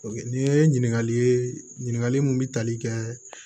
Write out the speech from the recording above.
Nin ye ɲininkali ye ɲininkali mun bɛ tali kɛ